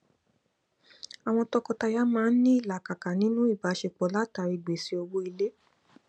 àwọn tọkọtaya maa n ní ìlàkàkà ninu ìbáṣepọ látari gbese owó ilé